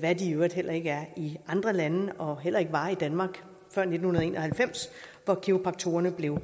hvad de i øvrigt heller ikke er i andre lande og heller ikke var i danmark før nitten en og halvfems hvor kiropraktorerne blev